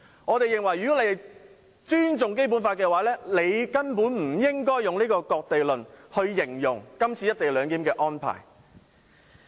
我認為他們若尊重《基本法》，根本不應以"割地論"形容今次"一地兩檢"的安排。